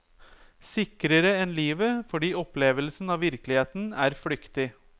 Sikrere enn livet, fordi opplevelsen av virkeligheten er flyktig.